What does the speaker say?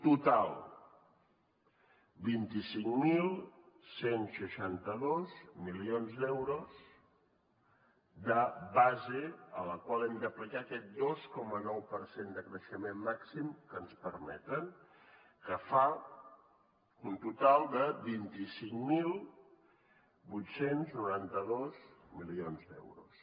total vint cinc mil cent i seixanta dos milions d’euros de base a la qual hem d’aplicar aquest dos coma nou per cent de creixement màxim que ens permeten que fa un total de vint cinc mil vuit cents i noranta dos milions d’euros